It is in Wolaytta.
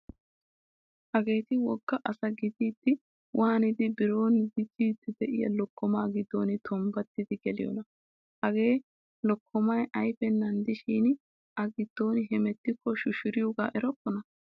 Hageeti wogga asa gididdi waanidi biro dicciddi diyaa lokkomaa giddo tombbattidi geliyoonaa. Hagee lokkomayi ayipennan diishshin A giddon hemettikko shushariyoogaa erokkonaa.